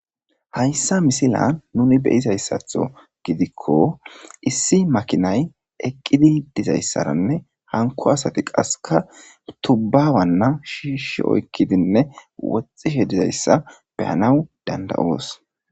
hayssa misila nuni beyizayssatho gidikko issi makinay eqqidi dizayssaranne hanko asati qaseka tubbawanna shiishi oykkidinne woxxishe dizayssa beyanaw dandayoos